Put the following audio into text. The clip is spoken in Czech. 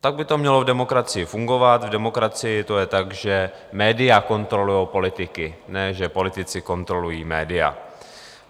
Tak by to mělo v demokracii fungovat, v demokracii to je tak, že média kontrolují politiky, ne že politici kontrolují média.